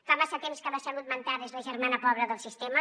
fa massa temps que la salut mental és la germana pobra del sistema